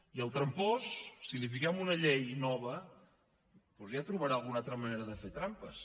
i el trampós si li fiquem una llei nova doncs ja trobarà alguna altra manera de fer trampes